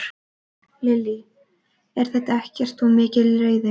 Lillý: Er þetta ekkert of mikil reiði?